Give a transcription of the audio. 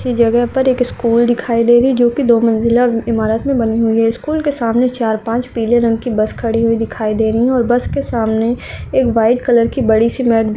किसी जगह पर एक स्कूल दिखाई दे रही है जो की दो मंजिला इमारत मे बनी हुई है स्कूल के सामने चार पाँच पीले रंग की बस खड़ी हुई दिखाई दे रही है और बस के सामने एक व्हाइट कलर की बड़ी सी--